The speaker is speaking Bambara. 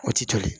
O ti toli